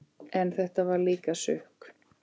En þetta var líka sukk.